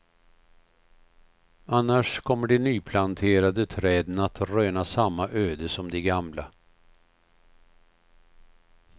Annars kommer de nyplanterade träden att röna samma öde som de gamla.